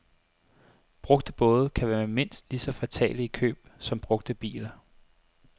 Brugte både kan være mindst lige så fatale i køb som brugte biler.